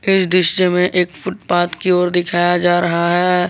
इस दृश्य में एक फुटपाथ की ओर दिखाया जा रहा है।